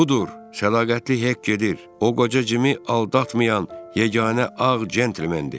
Budur, səliqətli Hek gedir, o qoca Cimi aldatmayan yeganə ağ gentlemendir.